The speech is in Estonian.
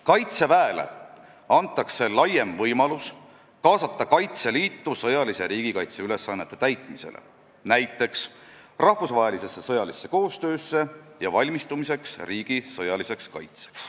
Kaitseväele antakse laiem võimalus kaasata Kaitseliitu sõjalise riigikaitse ülesannete täitmisele, näiteks rahvusvahelisse sõjalisse koostöösse ja valmistumisele riigi sõjaliseks kaitseks.